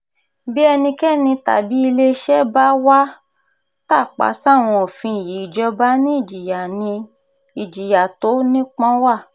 bí ẹnikẹ́ni tàbí iléeṣẹ́ bá wàá tàpá sáwọn òfin yìí ìjọba ni ìjìyà tó nípọn wa